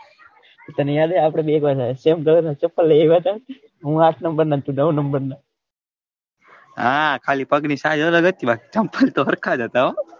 તને યાદ આપડે બંને same જેવા ચપ્પલ લીધા હતા હું આઠ number ના તું નૌ number ના હા ખાલી પગ ની size અલગ હતી ચપ્પલ તો સરખા જ હતા હો.